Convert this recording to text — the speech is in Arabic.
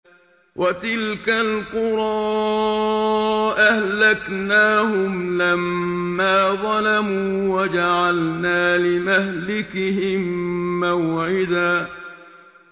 وَتِلْكَ الْقُرَىٰ أَهْلَكْنَاهُمْ لَمَّا ظَلَمُوا وَجَعَلْنَا لِمَهْلِكِهِم مَّوْعِدًا